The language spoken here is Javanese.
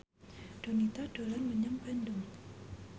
Donita dolan menyang Bandung